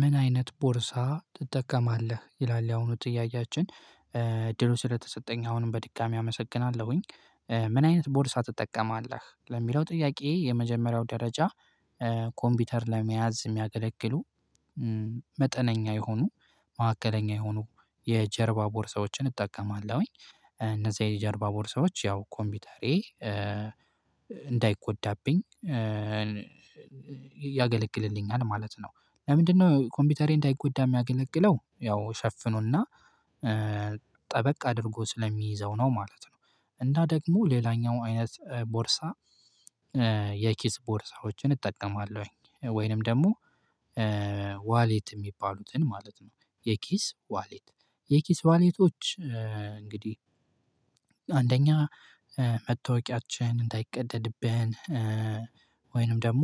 ምን አይነት ቦርሳ ትጠቀማለህ ይላል ያሁኑ ጥያቄያችን እድሉ ስለተሰጠኝ አሁንም በድጋሚ አመሰግናለሁኝ። ምን አይነት ቦርሳ ትጠቀማለህ ለሚለው ጥያቄ የመጀመሪያው ደረጃ? ኮምፒውተር ለመያዝ የሚያገለግሉ መጠነኛ የሆኑ ማዕከለኛ የሆኑ የጀርባ ቦርሳዎችን እጠቀማለሁኝ። እነዛ የጀርባ ቦርሳዎች ያው ኮምፒውተሬ እንዳይጎዳብኝ ያገለግልልኛል ማለት ነው። ለምንድነው ኮምፒውተሬ እንዳይጎዳ የሚያገለግለው ያው ሸፍኖና ጠበቅ አድርጎ ስለሚይዘው ነው ማለት ነው። እንዳ ደግሞ ሌላኛው አይነት ቦርሳ የኪስ ቦርሳዎችን እጠቀማለሁኝ ወይንም ደግሞ ዋሌት የሚባሉትን ማለት ነው። የኪስ ዋሌት የኪስ ዋሌቶች እንግዲህ አንደኛ መታወቂያችን እንዳይቀደድብን ወይንም ደግሞ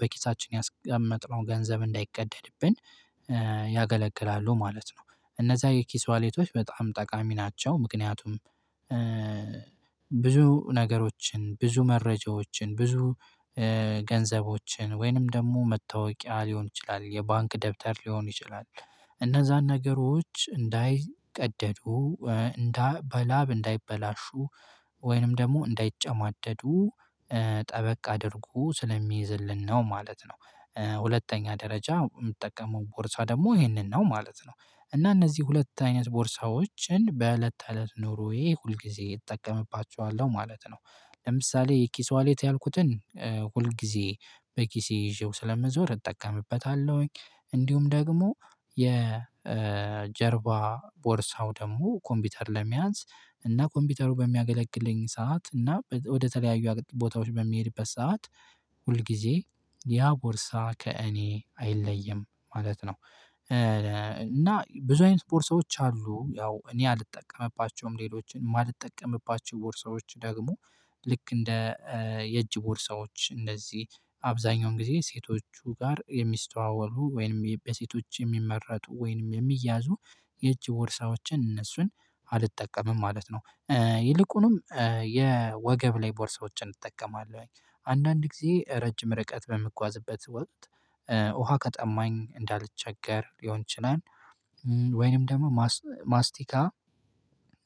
በኪሳችን ያስቀመጥነው ገንዘብ እንዳይቀደድብን ያገለግላሉ ማለት ነው። እነዛ የኪስ ዋሌቶች በጣም ጠቃሚ ናቸው ምክንያቱም ብዙ ነገሮችን ብዙ መረጃዎችን ብዙ ገንዘቦችን ወይንም ደግሞ መታወቂያ ሊሆን ይችላል የባንክ ደብተር ሊሆን ይችላል። እነዛን ነገሮች እንዳይቀደዱ እንዳ በላብ እንዳይበላሹ ወይንም ደግሞ እንዳይጨማደዱ ጠበቅ አድርጉ ስለሚይዝልን ነው ማለት ነው። ሁለተኛ ደረጃ የምትጠቀመው ቦርሳ ደግሞ ይሄንን ነው ማለት ነው። እና እነዚህ ሁለት አይነት ቦርሳዎችን በእለት ትእለት ኑሮየ ሁልጊዜ እጠቀምባቸዋለሁ ማለት ነው። ለምሳሌ ኪስ ዋሌት ያልኩትን ሁልጊዜ በኪሴ ይዤው ስለምዞር እጠቀምበታለሁኝ። እንዲሁም ደግሞ የጀርባ ቦርሳው ደግሞ ኮምፒውተር ለመያዝ እና ኮምፒውተሩ በሚያገለግለኝ ሰዓት እና ወደ ተለያዩ ቦታዎች በሚሄድበት ሰዓት ሁል ጊዜ ያ ቦርሳ ከእኔ አይለይም ማለት ነው። እና ብዙ አይነት ስፖርት ሰዎች አሉ ያው እኔ አልጠቀምባቸውም ሌሎችን የማልጠቀምባቸው ቦርሳዎች ደግሞ ልክ እንደ የእጅ ቦርሳዎች እነዚህ አብዛኛውን ጊዜ ሴቶቹ ጋር የሚስተዋወሉ ወይንም በሴቶች የሚመረጡ ወይንም የሚያዙ የእጅ ቦርሳዎችን እነሱን አልጠቀምም ማለት ነው። ይልቁኑም የወገብ ላይ ቦርሶችን እጠቀማለሁኝ አንዳንድ ጊዜ ረጅም ርቀት በምጓዝበት ወቅት ውሃ ቀጠማኝ እንዳልቸገር ሊሆን ይችላል። ወይንም ደግሞ ማስቲካ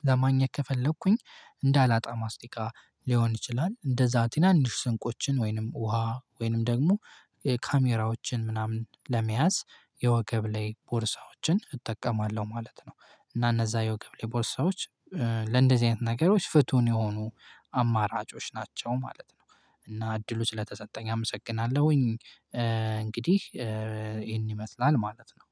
ለማኛ ከፈለኩኝ እንዳላጣ ማስታወቂያ ሊሆን ይችላል እንደዛ ቲናንሽ ስንቆችን ወይንም ውሃ ወይንም ደግሞ ካሜራዎችን ምናምን ለመያዝ የወገብ ላይ ቦርሳዎችን እጠቀማለሁ ማለት ነው። እና እነዛ የወገብ ቦርሳዎች ለእንደዚህ አይነት ነገሮች ፍቱን የሆኑ አማራጮች ናቸው ማለት ነው። እና እድሉ ስለተሰጠኝ አመሰግናለሁኝ። እንግዲህ ይሄን ይመስላል ማለት ነው